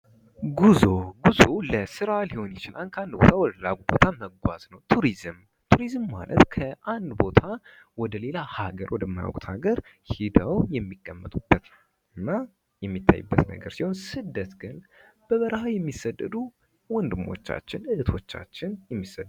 ጉዞ፦ ጉዞ ለስራ ሊሆን ይችላል ከአንድ ቦታ ወደ ሌላ ቦታ መጓዝ ማለት ነው ቱሪዝም፦ ቱሪዝም ከአንድ ቦታ ወደ ሌላ ሀገር ሄደው የሚቀመጡበት የሚታዩበት ሲሆን ስደት ግን በበረሃ የሚሰደዱ እህቶቻችን ወንድሞቻችን የሚሰደዱበት ነው።